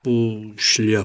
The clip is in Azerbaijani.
Bu şlyapadır.